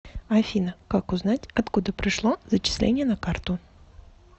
афина как узнать откуда пришло зачисление на карту